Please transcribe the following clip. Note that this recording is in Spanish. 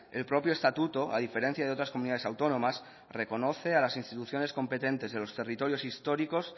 el propio estatuto a diferencia de otras comunidades autónomas reconoce a las instituciones competentes de los territorios históricos